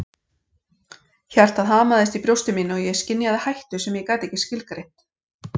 Hjartað hamaðist í brjósti mínu og ég skynjaði hættu sem ég gat ekki skilgreint.